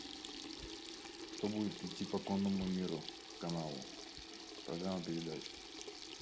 что будет идти по конному миру каналу программа передач